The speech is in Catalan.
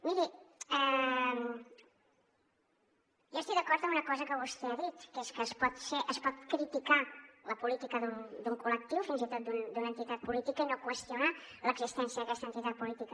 miri jo estic d’acord amb una cosa que vostè ha dit que és que es pot criticar la política d’un col·lectiu fins i tot d’una entitat política i no qüestionar l’existència d’aquesta entitat política